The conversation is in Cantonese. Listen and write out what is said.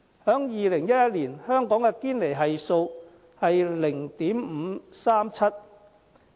在2011年，香港的堅尼系數是 0.537。